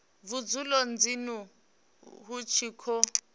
vhudzulo dzinnu hu tshi khou